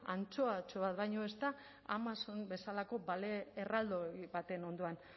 antxoatxo bat baino ez da amazon bezalako balea erraldoi baten ondoan